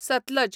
Sutlej